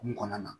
Kun kɔnɔna na